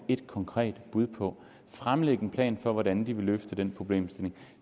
et konkret bud på fremlægge en plan for hvordan de vil løfte den problemstilling